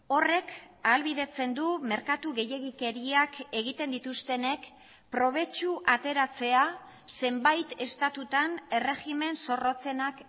horrek ahalbidetzen du merkatu gehiegikeriak egiten dituztenek probetxu ateratzea zenbait estatutan erregimen zorrotzenak